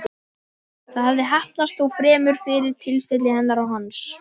Það hafði heppnast, þó fremur fyrir tilstilli hennar en hans.